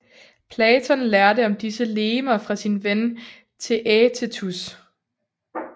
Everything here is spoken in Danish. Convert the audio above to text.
Platon lærte om disse legemer fra sin ven Theætetus